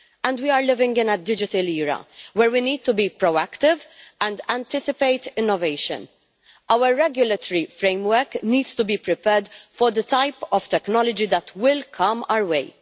We are living in a digital era where we need to be proactive and anticipate innovation. Our regulatory framework needs to be prepared for the type of technology that will come our way.